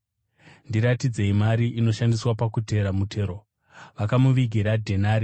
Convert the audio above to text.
Ndiratidzei mari inoshandiswa pakutera mutero.” Vakamuvigira dhenari